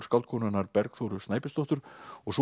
skáldkonunnar Bergþóru Snæbjörnsdóttur og svo